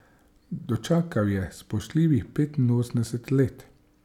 Dočakal je spoštljivih petinosemdeset let.